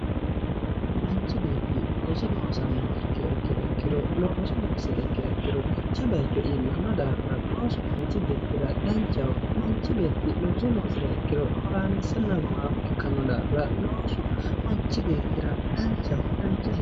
mnachi beetti looso loosiha ikkiha ikkiro dancha bayicho iillanno daafira loosu manchi beettira danchaho manchi beeti looso loosiriha ikkiro horaameessanna gumaamo ikkanno daafira loosu manchu beettira danchaho.